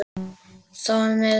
Þá er mið nótt hér.